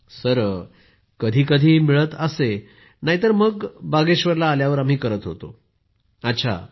Poonam Nautiyal sir कधी कधी मिळत असे नाही तर बागेश्वरला आल्यावर करत होतो आम्ही